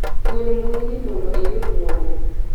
gwel mbui ni mondo iyud mwandu